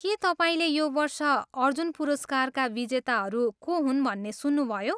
के तपाईँले यो वर्ष अर्जुन पुरस्कारका विजेताहरू को हुन् भन्ने सुन्नुभयो?